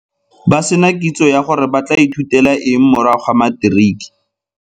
Ba se na kitso ya gore ba tla ithutela eng morago ga materiki.